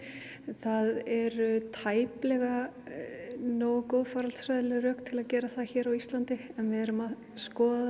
það eru tæplega nógu góð faraldsfræðileg rök til að gera það hér á Íslandi en við erum að skoða